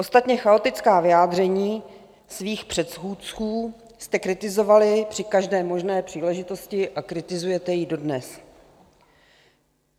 Ostatně chaotická vyjádření svých předchůdců jste kritizovali při každé možné příležitosti a kritizujete je dodnes.